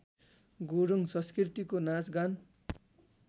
गुरूङ संस्कृतिको नाचगान